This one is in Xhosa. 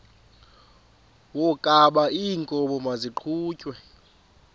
wokaba iinkomo maziqhutyelwe